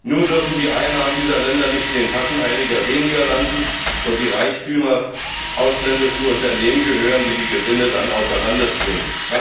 Nur dürfen die Einnahmen dieser Länder nicht in den Taschen einiger weniger landen und die Reichtümer ausländischen Unternehmen gehören, die die Gewinne dann außer Landes bringen.